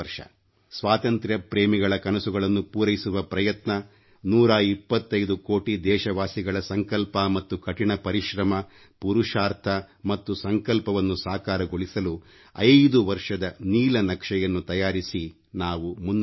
ಸ್ವಾತಂತ್ರ್ಯಪ್ರೇಮಿಗಳ ಕನಸುಗಳನ್ನು ಪೂರೈಸುವ ಪ್ರಯತ್ನ 125 ಕೋಟಿ ದೇಶವಾಸಿಗಳ ಸಂಕಲ್ಪ ಮತ್ತು ಕಠಿಣ ಪರಿಶ್ರಮ ಪುರುಷಾರ್ಥ ಮತ್ತು ಸಂಕಲ್ಪವನ್ನು ಸಾಕಾರಗೊಳಿಸಲು ಐದು ವರ್ಷದ ನೀಲನಕ್ಷೆಯನ್ನು ತಯಾರಿಸಿ ನಾವು ಮುನ್ನಡೆಯೋಣ